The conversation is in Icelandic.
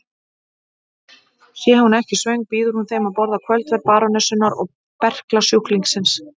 Sé hún ekki svöng býður hún þeim að borða kvöldverð barónessunnar og berklasjúklingsins.